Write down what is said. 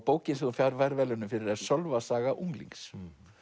bókin sem þú færð verðlaunin fyrir er Sölvasaga unglings